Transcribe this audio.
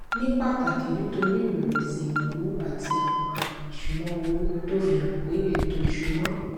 ní pàtàkì nítorí ìrẹwẹsì ìnáwó àti àwọn àmì ìṣúnná owó tó fi hàn pé ètò ìṣúnná